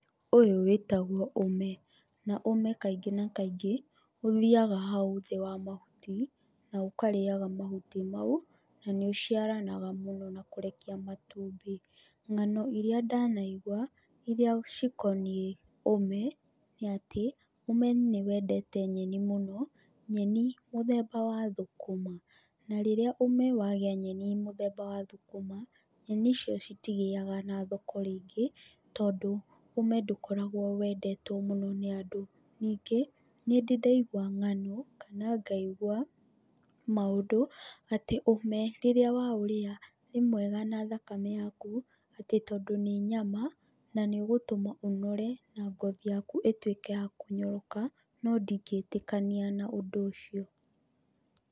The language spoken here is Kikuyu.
Ũyũ wĩtagwo ũme, na ũme kaingĩ na kaingĩ, ũthiaga hau thĩ wa mahuti, na ũkarĩaga mahuti mau, na nĩ ũciaranaga mũno na kũrekia matumbĩ, ng'ano iria ndanaigwa, iria cikoniĩ ũme, nĩ atĩ ũme nĩ wendete nyeni mũno, nyeni mũthemba wa thũkũma. Na rĩrĩa ũme wagĩa nyeni mũthemba wa thũkũma, nyeni icio citigĩaga na thoko rĩngĩ, tondũ ũmwe ndũkoragwo wendetwo mũno nĩ andũ. Ningĩ, nĩ ndĩ ndaigwa ng'ano kana ngaigwa maũndũ atĩ ũme rĩrĩa waũrĩa nĩ mwega na thakame yaku, atĩ tondũ nĩ nyama, na nĩ ũgũtũma ũnore na ngothi yaku ĩtuĩke ya kũnyoroka, no ndingĩtĩkania na ũndũ ũcio.